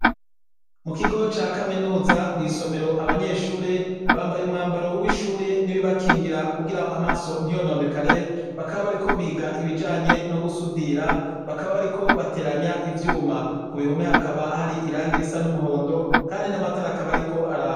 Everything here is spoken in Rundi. Mu kigo ca kaminuza mw'isomero abanyeshure bambaye umwambaro w'ishure n'ibibakingira kugira amaso ntiyononekare. Bakaba bariko biga ibijanye no gusudira. Bakaba bariko bateranya ivyuma. Ku bihome hakaba hari irangi risa n'umuhondo, kandi n'amatara akaba ariko araka.